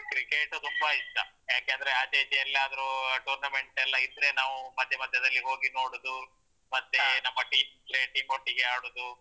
Cricket ತುಂಬಾ ಇಷ್ಟ ಯಾಕೆ ಅಂದ್ರೆ ಆಚೆ ಈಚೆ ಎಲ್ಲಾದ್ರು tournament ಎಲ್ಲಾ ಇದ್ರೆ ನಾವು ಮತ್ತೆ ಮತ್ತೆ ಅದ್ರಲ್ಲಿ ನೋಡುದು ಮತ್ತೆ ನಮ್ಮ team ಒಟ್ಟಿಗೆ ಆಡುದು.